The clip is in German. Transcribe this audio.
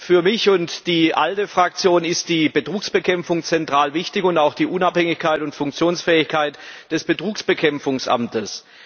Für mich und die ALDE Fraktion ist die Betrugsbekämpfung zentral wichtig, ebenso wie die Unabhängigkeit und Funktionsfähigkeit des Betrugsbekämpfungsamtes.